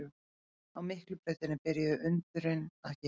Á Miklubrautinni byrjuðu undrin að gerast.